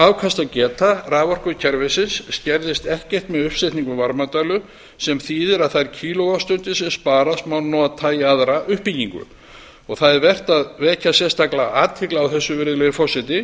afkastageta raforkukerfisins skerðist ekkert með uppsetningu varmadælu sem þýðir að þær kíló vattstundir sem sparast má nota í aðra uppbyggingu það er vert að vekja sérstaklega athygli á þessu virðulegi forseti